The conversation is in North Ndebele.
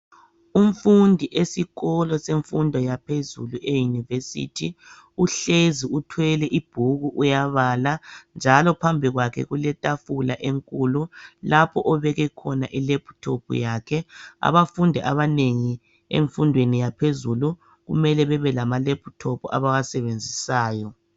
umfundi esikolo semfundo yaphezulu e University uhlezi uthwele ibhuku uyabala njalo phambi kwakhe kuletafula enkulu lapho obeke khona i laptop yakhe abafundi abanengi emfundweni yaphezulu kumele babe lama laptop abawasebenzisayo